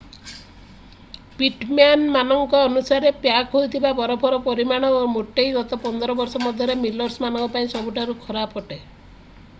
Pitman ମାନଙ୍କ ଅନୁସାରେ pack ହୋଇଥିବା ବରଫର ପରିମାଣ ଏବଂ ମୋଟେଇ ଗତ 15 ବର୍ଷ ମଧ୍ୟରେ ସିଲର୍ସ ମାନଙ୍କ ପାଇଁ ସବୁଠାରୁ ଖରାପ ଅଟେ